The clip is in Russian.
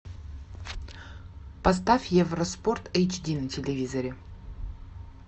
поставь евро спорт эйч ди на телевизоре